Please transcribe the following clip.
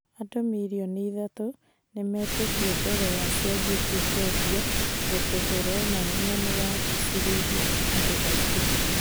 andũ mirioni ithatũ nĩmetĩtie mbere ya cianjĩtie kwendio ũndũ ũronania nĩwagucĩrĩirie andũ aingĩ